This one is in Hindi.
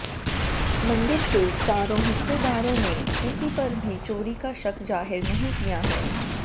मंदिर के चारों हिस्सेदारों ने किसी पर भी चोरी का शक जाहिर नहीं किया है